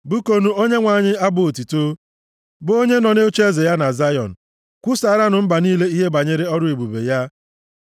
Bụkuonụ Onyenwe anyị abụ otuto, bụ onye nọ nʼocheeze ya na Zayọn. Kwusaaranụ mba niile ihe banyere ọrụ ebube ya.